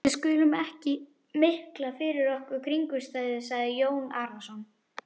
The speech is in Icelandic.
Við skulum ekki mikla fyrir okkur kringumstæður, sagði Jón Arason.